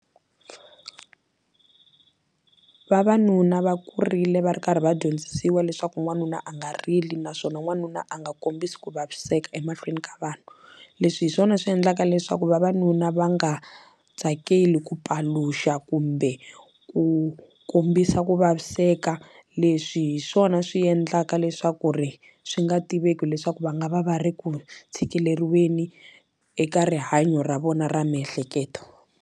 Vavanuna va kurile va ri karhi va dyondzisiwa leswaku n'wanuna a nga rili naswona n'wanuna a nga kombisi ku vaviseka emahlweni ka vanhu leswi hi swona swi endlaka leswaku vavanuna va nga tsakeli ku paluxa kumbe ku kombisa ku vaviseka leswi hi swona swi endlaka leswaku ri swi nga tiveki leswaku va nga va va ri ku tshikeleriweni eka rihanyo ra vona ra miehleketo.